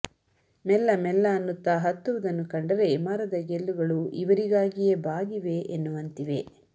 ಮೆಲ್ಲ ಮೆಲ್ಲ ಅನ್ನುತ್ತ ಹತ್ತುವುದನ್ನು ಕಂಡರೆ ಮರದ ಗೆಲ್ಲುಗಳು ಇವರಿಗಾಗಿಯೇ ಬಾಗಿವೆ ಎನ್ನುವಂತಿವೆ